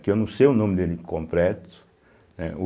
que eu não sei o nome dele completo, eh.